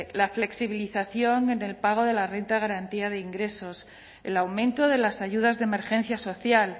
la flexibilización en el pago de la renta de garantía de ingresos el aumento de las ayudas de emergencia social